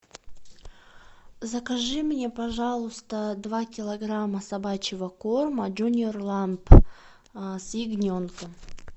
закажи мне пожалуйста два килограмма собачьего корма джуниор ламп с ягненком